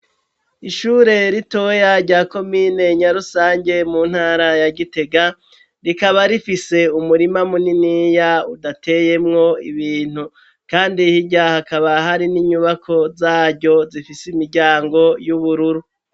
Ishure ritoya rya komine Nyarusange, mu ntara ya Gitega, rikaba rifise umurima muniniya udateyemwo ibintu kandi hirya hakaba hari n'inyubako zaryo zifise imiryango y'ubururu.